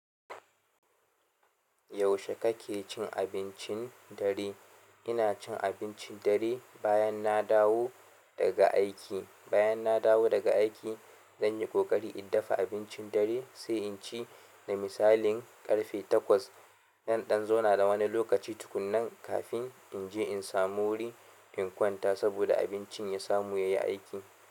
Yaushe kake cin abincin dare? Ina cin abincin dare bayan na dawo daga aiki. Bayan na dawo daga aiki, zan yi ƙoƙari in dafa abincin dare sai in ci, da misali ƙarfe takwas. Nan ɗan zauna na wani lokaci tukunnan kafin in je in samu wuri in kwanta saboda abincin ya samu yayi aiki.